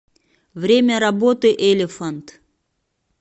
время работы элефант